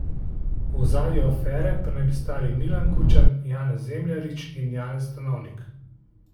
V ozadju afere pa naj bi stali Milan Kučan, Janez Zemljarič in Janez Stanovnik.